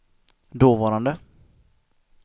dåvarande